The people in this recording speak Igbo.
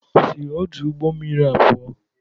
Si ọdu ụgbọ mmiri a pụọ!